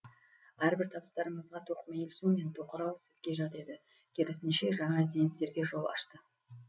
әрбір табыстарыңызға тоқмейілсу мен тоқырау сізге жат еді керісінше жаңа ізденістерге жол ашты